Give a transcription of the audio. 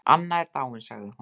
Anna er dáin sagði hún.